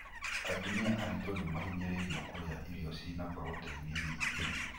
Atumia aritũ nĩmahinyĩrĩirio kũria irio cina proteini nyingĩ.